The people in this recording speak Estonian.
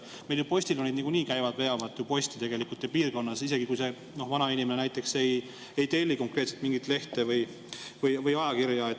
Meil ju postiljonid niikuinii veavad posti seal piirkonnas, isegi kui see vanainimene näiteks ei telli konkreetselt mingit lehte või ajakirja.